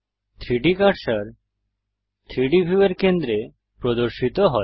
3ডি কার্সার 3ডি ভিউয়ের কেন্দ্রে প্রদর্শিত হয়